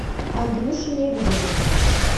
андрюше лебедеву